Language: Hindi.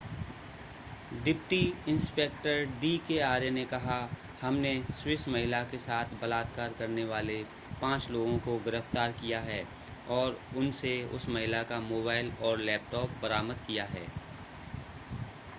deputy inspector D K Arya ने कहा हमने स्विस महिला के साथ बलात्कार करने वाले पांच लोगों को गिरफ्तार किया है और उनसे उस महिला का मोबाइल और लैपटॉप बरामद किया है